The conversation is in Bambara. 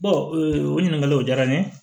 o ɲininkaliw diyara n ye